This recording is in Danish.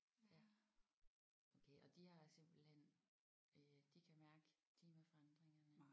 Ja okay og de har simpelthen øh de kan mærke klimaforandringerne